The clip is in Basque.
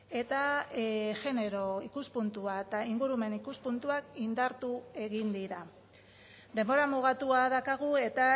eta genero ikuspuntua eta ingurumen ikuspuntuak indartu egin dira denbora mugatua daukagu eta